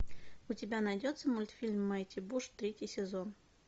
у тебя найдется мультфильм майти буш третий сезон